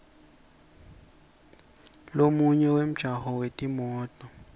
lomunye wemjaho wetimoto